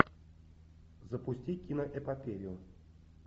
запусти киноэпопею